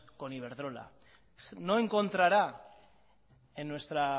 con iberdrola no encontrará en nuestra